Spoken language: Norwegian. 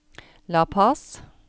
La Paz